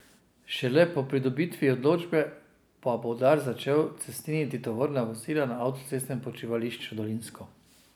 Šele po pridobitvi odločbe pa bo Dars začel cestniniti tovorna vozila na avtocestnem počivališču Dolinsko.